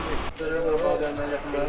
Dönə, döyməklə yaxşıdır.